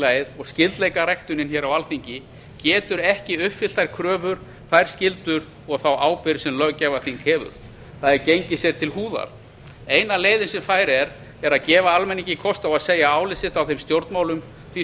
að fjórflokkasamfélagið og skyldleikaræktunin á alþingi getur ekki uppfyllt þær kröfur þær skyldur og þá ábyrgð sem löggjafarþing hefur það er gengið sér til húðar eina leiðin sem fær er er að gefa almenningi kost á að segja álit sitt á þeim stjórnmálum því